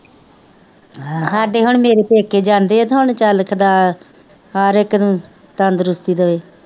ਹਾਂ ਸਾਡੇ ਹੁਣ ਪੇਕੇ ਜਾਂਦੇ ਨਾ ਚੱਲ ਖਦਾ ਹਰ ਇੱਕ ਤੰਦਰੁਸਤੀ ਦੇਵੇ